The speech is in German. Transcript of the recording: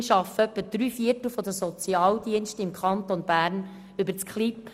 Immerhin arbeiten etwa drei Viertel der Sozialdienste im Kanton Bern mit KLIBnet.